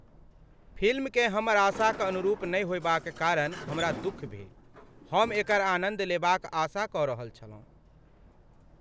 फिल्मकेँ हमर आशाक अनुरूप नहि होएबाक कारण हमरा दुख भेल। हम एकर आनन्द लेबाक आशा कऽ रहल छलहुँ।